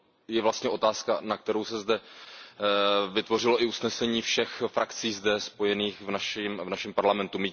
je vlastně otázka, na kterou se zde vytvořilo i usnesení všech frakcí spojených v našem parlamentu.